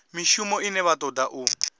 mishumo ine vha toda u